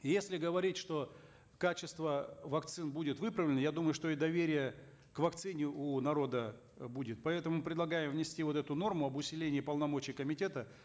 и если говорить что качество вакцин будет выправлено я думаю что и доверие к вакцине у народа будет поэтому предлагаем внести вот эту норму об усилении полномочий комитета